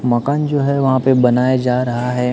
मकान जो है वहां पे बनाए जा रहा है।